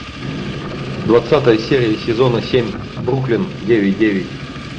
двадцатая серия сезона семь бруклин девять девять